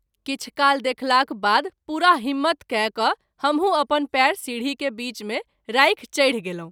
किछु काल देखलाक बाद पूरा हिम्मत कय क’ हमहू अपन पैर सीढी के बीच मे राखि चढि गेलहुँ।